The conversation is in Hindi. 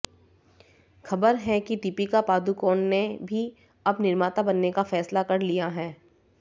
ख़बर है कि दीपिका पादुकोण ने भी अब निर्माता बनने का फैसला कर लिया है